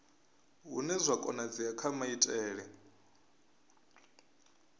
hune zwa konadzea kha maitele